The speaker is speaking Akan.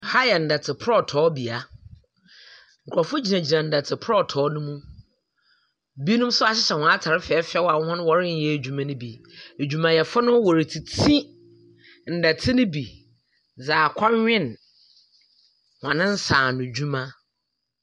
Aha yɛ nnete prɔtɔɔnea. Nkurɔfo gyinagyina nnɛtɔ prɔtɔɔ no mu. Ebinom nso ahyɛ wɔn ataar fɛɛfɛw a wɔn wɔrenyɛ adwuma no bi. Adwumayɛfo no wɔretiti nnɛte no bi dze akɔnwen wɔn nsa ano adwuma.